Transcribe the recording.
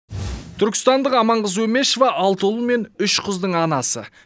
түркістандық аманқыз өмешова алты ұл мен үш қыздың анасы